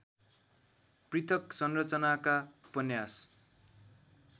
पृथक् संरचनाका उपन्यास